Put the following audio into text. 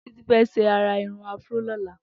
Titilayo fè ṣé àrà irùn afro lọ̀lá